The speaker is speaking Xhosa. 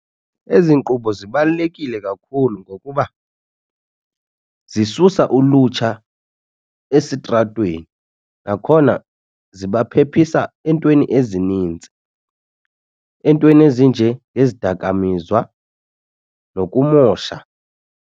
Ezi nkqubo zibalulekile kakhulu ngokuba zisusa ulutsha esitratweni nakhona ziba phephisa eentweni ezinintsi, entweni ezinje ngezidakamizwa nokumosha.